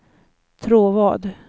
Tråvad